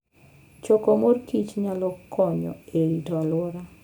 Choko mor kich nyalo konyo e rito alwora.